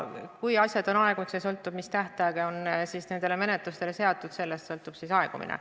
Olenevalt sellest, milline tähtaeg on menetlustele seatud, sõltub nende aegumine.